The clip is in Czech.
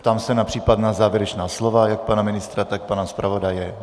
Ptám se na případná závěrečná slova jak pana ministra, tak pana zpravodaje.